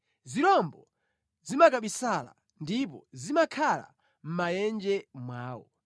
Zirombo zimakabisala ndipo zimakhala mʼmaenje mwawo.